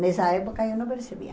Nessa época eu não percebia.